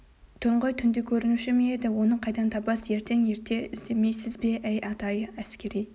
түн ғой түнде көрінуші ме еді оны қайдан табасыз ертең ерте іздемейсіз бе әй ата-ай әскери